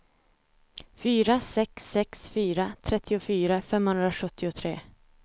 fyra sex sex fyra trettiofyra femhundrasjuttiotre